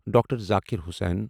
Doctor Zakir Hussain